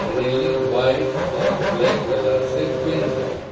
Railing white और black colour से paint है।